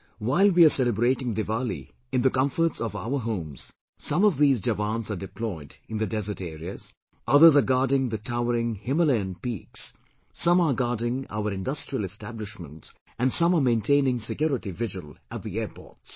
While we are celebrating Diwali in the comforts of our homes, some of these Jawans are deployed in the desert areas, others are guarding the towering Himalayan peaks, some are guarding our industrial establishments and some are maintaining security vigil at the airports